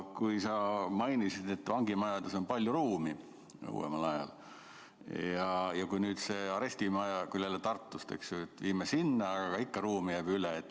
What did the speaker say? Sa mainisid, et vangimajades on uuemal ajal palju ruumi ja nüüd viime arestimaja Tartus sinna, aga ikka ruumi jääb üle.